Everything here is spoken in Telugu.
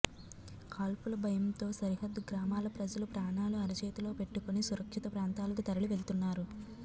కాల్పుల భయంతో సరిహద్దు గ్రామాల ప్రజలు ప్రాణాలు అరచేతిలో పెట్టుకొని సురక్షిత ప్రాంతాలకు తరలి వెళ్తున్నారు